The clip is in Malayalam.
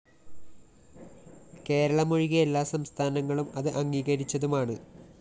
കേരളം ഒഴികെ എല്ലാ സംസ്ഥാനങ്ങളും ഇത് അംഗീകരിച്ചതുമാണ്